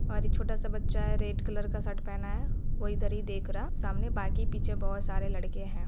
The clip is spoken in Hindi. एक छोटा सा बच्चा है रेड कलर शर्ट पहना है वो इधर ही देख रहा सामने बाकी पीछे बहुत सारे लड़के है ।